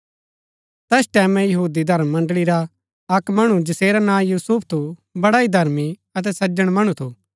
तैस टैमैं यहूदी धर्म मण्ड़ळी रा अक्क मणु जैसेरा नां यूसुफ थू बड़ा ही धर्मी अतै सज्‍जन मणु थू